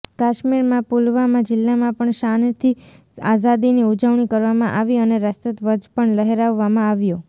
કાશ્મીરના પુલવામાં જિલ્લામાં પણ શાનથી આઝાદીની ઉજવણી કરવામાં આવી અને રાષ્ટ્ર ધ્વજ પણ લહેરાવવામાં આવ્યો